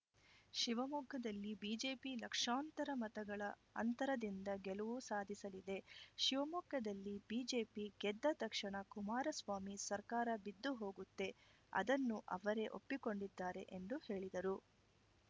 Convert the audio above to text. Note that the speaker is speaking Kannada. ಶಿವಮೊಗ್ಗದಲ್ಲಿ ಬಿಜೆಪಿ ಲಕ್ಷಾಂತರ ಮತಗಳ ಅಂತರದಿಂದ ಗೆಲುವು ಸಾಧಿಸಲಿದೆ ಶಿವಮೊಗ್ಗದಲ್ಲಿ ಬಿಜೆಪಿ ಗೆದ್ದ ತಕ್ಷಣ ಕುಮಾರಸ್ವಾಮಿ ಸರ್ಕಾರ ಬಿದ್ದು ಹೋಗುತ್ತೆ ಅದನ್ನು ಅವರೇ ಒಪ್ಪಿಕೊಂಡಿದ್ದಾರೆ ಎಂದು ಹೇಳಿದರು